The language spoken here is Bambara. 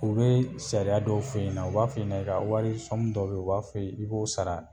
U be sariya dɔw f'e ɲɛna, u b'a f'e ɲɛna i ka wari dɔw be yen u b'a f'e i b'o sara